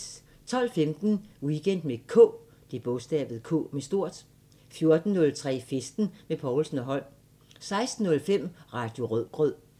12:15: Weekend med K 14:03: Festen med Povlsen & Holm 16:05: Radio Rødgrød